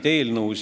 Hea eesistuja!